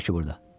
Nə var ki burda?